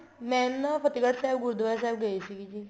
ਮੈਂ ਨਾ ਫਤਿਹਗੜ੍ਹ ਸਾਹਿਬ ਗੁਰੂਦਆਰੇ ਸਾਹਿਬ ਗਈ ਹੋਈ ਸੀਗੀ ਜੀ